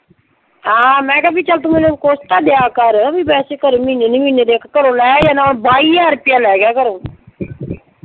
ਹਾਂ ਮੈਂ ਕਿਹਾ ਵੀ ਚੱਲ ਤੂੰ ਮੈਨੂੰ ਕੁਛ ਤਾਂ ਦਿਆ ਕਰ ਵੀ ਵੈਸੇ ਚੱਲ ਮਹੀਨੇ ਦੀ ਮਹੀਨੇ, ਦੇਖ ਘਰੋਂ ਲਏ ਜਾਂ ਨਾ ਬਾਈ ਹਜਾਰ ਰੁਪਈਆ ਲੈ ਗਿਆ ਘਰੋਂ।